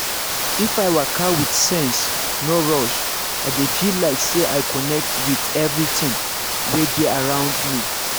if i waka with sense no rush i dey feel like say i connect with everything wey dey around me.